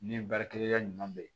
Ni baarakɛyɔrɔ ɲuman bɛ yen